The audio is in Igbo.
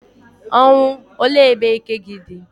Ọnwụ, olee ebe ike gi di?